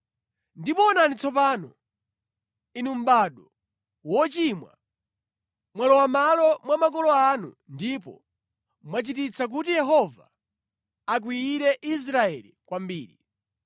“Ndipo onani tsopano, inu mʼbado wochimwa, mwalowa mʼmalo mwa makolo anu ndipo mwachititsa kuti Yehova akwiyire Israeli kwambiri.